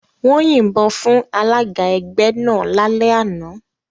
Wọ́n yìnbọn fún alága ẹgbẹ́ náà lálẹ́ àná.